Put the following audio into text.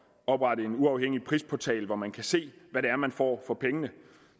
at oprette en uafhængig prisportal hvor man kan se hvad det er man får for pengene